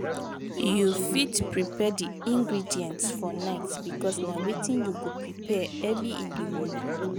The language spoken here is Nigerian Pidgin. you fit prepare di ingredients for night because na wetin you go prepare early in di morning